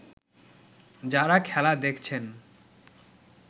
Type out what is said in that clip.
যাঁরা খেলা দেখছেন